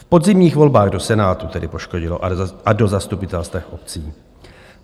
V podzimních volbách do Senátu tedy poškodilo a do zastupitelstev obcí.